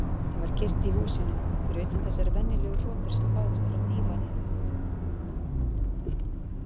Það var kyrrt í húsinu, fyrir utan þessar venjulegu hrotur sem bárust frá dívaninum.